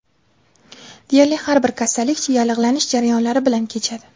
Deyarli har bir kasallik yallig‘lanish jarayonlari bilan kechadi.